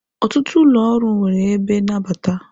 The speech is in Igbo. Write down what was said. Ọtụtụ ụlọ ọrụ nwere ebe nnabata.